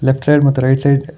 left side ಮತ್ತು right side --